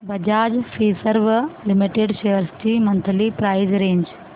Bajaj Finserv limited shares ची monthly price range